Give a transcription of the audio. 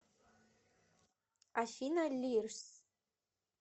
афина лирс